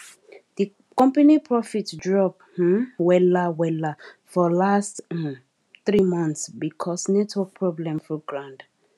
di company profit drop um wella wella for last um three months because network problem full ground